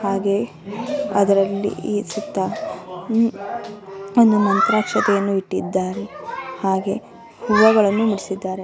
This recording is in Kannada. ಹಾಗೆ ಅದರಲ್ಲಿ ಈ ಚಿತ್ತ ಒಂದು ಮಂತ್ರಾಕ್ಷತೆಯನ್ನು ಇಟ್ಟಿದ್ದಾರೆ ಹಾಗೆ ಹೂವಗಳನ್ನು ಮುಡಿಸಿದ್ದಾರೆ.